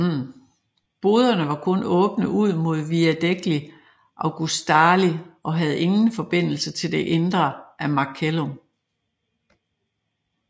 Boderne var kun åbne ud mod Via degli Augustali og havde ingen forbindelse til det indre af Macellum